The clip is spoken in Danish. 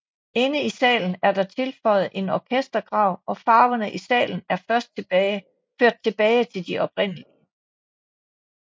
Inde i salen er der tilføjet en orkestergrav og farverne i salen er ført tilbage de oprindelige